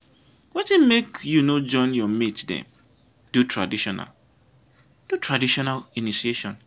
wetin make you no join your mate dem do traditional do traditional initiation?